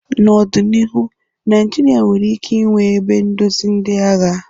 N'ọdịnihu, Naijiria nwere ike ịnwe ebe ndozi ndị agha.